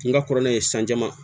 N ka kɔrɔlen san jama